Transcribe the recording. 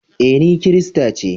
E, ni kirista ce.